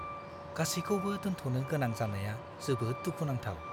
गासिखौबो दोनथ'नो गोनां जानाया जोबोद दुखुनांथाव!